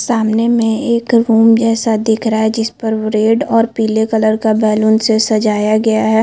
सामने में एक रूम जैसा दिख रहा है जिस पर रेड और पिले कलर का बैलून से सजाया गया है।